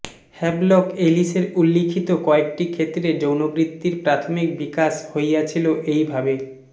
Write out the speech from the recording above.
Havelock এলিসের উল্লিখিত কয়েকটি ক্ষেত্রে যৌনবৃত্তির প্রাথমিক বিকাশ হইয়াছিল এই ভাবে